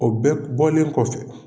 O bɛɛ bɔlen kɔfɛ